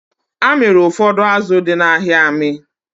A mịrị ụfọdụ azụ dị n'ahịa amị